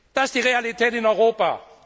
Das ist die Realität in Europa.